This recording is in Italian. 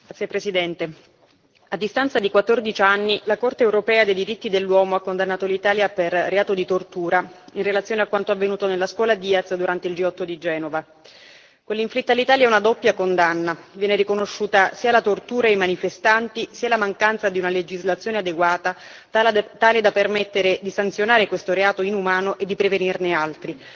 Signor Presidente, onorevoli colleghi, a distanza di 14 anni la Corte europea dei diritti dell'uomo ha condannato l'Italia per reato di tortura in relazione a quanto avvenuto nella scuola Diaz durante il G8 di Genova. Quella inflitta all'Italia è una doppia condanna viene riconosciuta sia la tortura ai manifestanti, sia la mancanza di una legislazione adeguata tale da permettere di sanzionare questo reato inumano e di prevenirne altri.